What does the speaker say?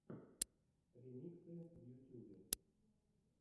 ремиксы в ютюбе